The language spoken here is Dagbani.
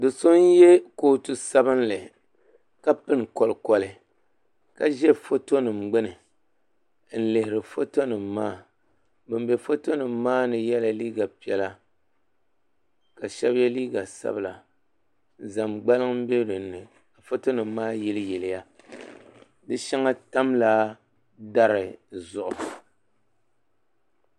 So so n yiɛ kootu ka pini kolikoli ka zɛ foto nim gbuni n lihiri foto nim maa ban bɛ foto nim maa ni yiɛla liiga piɛlla ka shɛba yiɛ liiga sabila zama gbaliŋ mbɛ dinni foto nim maa yili yili ya di shɛŋa tam la dari zuɣu.